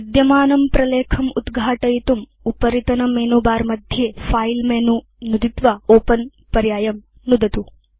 विद्यमानं प्रलेखम् उद्घाटयितुम् उपरितनमेनुबारमध्ये फिले मेनु नुदित्वा ओपेन पर्यायं नुदतु